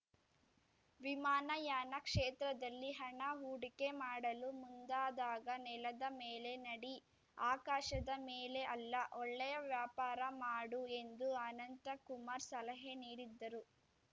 ವಿಮಾನಯಾನ ಕ್ಷೇತ್ರದಲ್ಲಿ ಹಣ ಹೂಡಿಕೆ ಮಾಡಲು ಮುಂದಾದಾಗ ನೆಲದ ಮೇಲೆ ನಡಿ ಆಕಾಶದ ಮೇಲೆ ಅಲ್ಲ ಒಳ್ಳೆಯ ವ್ಯಾಪಾರ ಮಾಡು ಎಂದು ಅನಂತಕುಮಾರ್‌ ಸಲಹೆ ನೀಡಿದ್ದರು